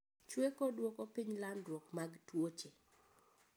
Chweko dwoko piny landruok mag tuoche